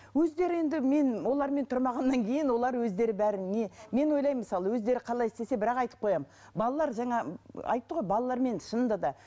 өздері енді мен олармен тұрмағаннан кейін олар өздері бәрін не мен ойлаймын мысалы өздері қалай істесе бірақ айтып қоямын балалар жаңа айтты ғой балалармен шынында да